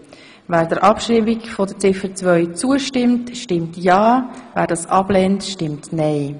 Wer Ziffer 2 abschreiben will, stimmt ja, wer dies ablehnt, stimmt nein.